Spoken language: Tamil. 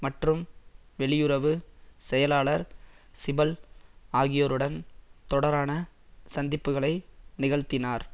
மற்றும் வெளியுறவு செயலாளர் சிபல் ஆகியோருடன் தொடரான சந்திப்புக்களை நிகழ்த்தினார்